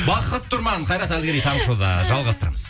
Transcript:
бақыт тұрман қайрат әділгерей таңғы шоуда жалғастырамыз